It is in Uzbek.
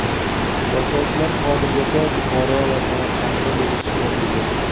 Boshlovchilar hozirgacha Buxoro va Samarqandda bo‘lishga ulgurdi.